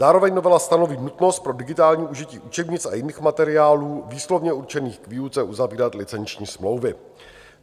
Zároveň novela stanoví nutnost pro digitální užití učebnic a jiných materiálů výslovně určených k výuce uzavírat licenční smlouvy.